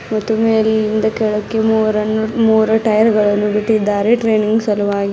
ಮತ್ತು ಮೇಲಿಂದ ಕೆಳಕ್ಕೆ ಮೂರನ್ನು ಮೂರು ಟಯರ್ ಗಳನ್ನು ಬಿಟ್ಟಿದ್ದಾರೆ ಟ್ರಾನಿಂಗ್ ಸಲುವಾಗಿ.